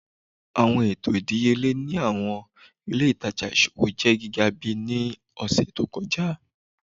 Awọn eto idiyele ni awọn ile itaja iṣowo jẹ giga bi ni ọsẹ to kọja